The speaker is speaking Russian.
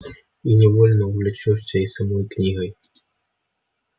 и невольно увлечёшься и самой книгой